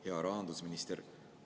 Hea rahandusminister!